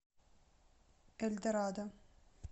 эльдорадо